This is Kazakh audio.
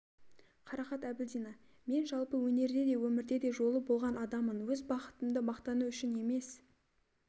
қарақат әбілдина мен жалпы өнерде де өмірде де жолы болған адаммын өз бақытымды мақтану үшін емес